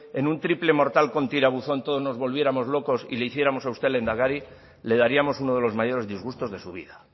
en un triple mortal con tirabuzón todos nos volviéramos locos y le hiciéramos a usted lehendakari le daríamos uno de los mayores disgustos de su vida